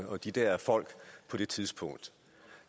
og de der folk på det tidspunkt